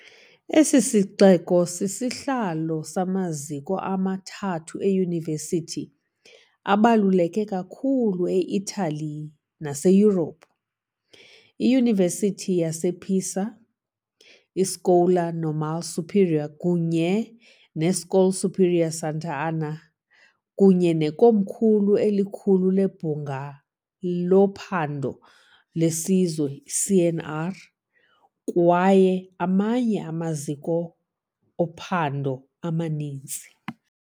Esi sixeko sisihlalo samaziko amathathu eyunivesithi abaluleke kakhulu e-Itali naseYurophu, iYunivesithi yasePisa, iScuola Normale Superiore kunye neScuola Superiore Sant'Anna, kunye nekomkhulu elikhulu leBhunga loPhando leSizwe, CNR, kwaye amanye amaziko ophando amaninzi.